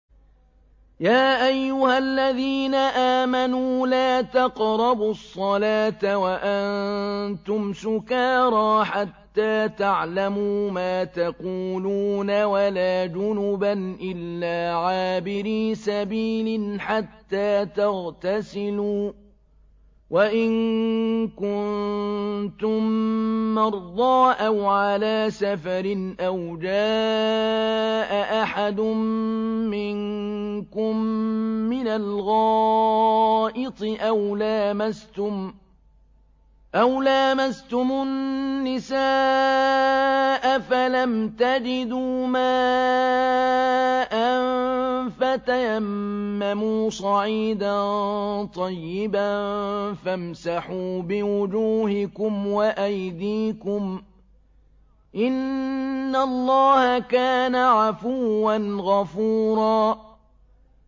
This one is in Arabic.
يَا أَيُّهَا الَّذِينَ آمَنُوا لَا تَقْرَبُوا الصَّلَاةَ وَأَنتُمْ سُكَارَىٰ حَتَّىٰ تَعْلَمُوا مَا تَقُولُونَ وَلَا جُنُبًا إِلَّا عَابِرِي سَبِيلٍ حَتَّىٰ تَغْتَسِلُوا ۚ وَإِن كُنتُم مَّرْضَىٰ أَوْ عَلَىٰ سَفَرٍ أَوْ جَاءَ أَحَدٌ مِّنكُم مِّنَ الْغَائِطِ أَوْ لَامَسْتُمُ النِّسَاءَ فَلَمْ تَجِدُوا مَاءً فَتَيَمَّمُوا صَعِيدًا طَيِّبًا فَامْسَحُوا بِوُجُوهِكُمْ وَأَيْدِيكُمْ ۗ إِنَّ اللَّهَ كَانَ عَفُوًّا غَفُورًا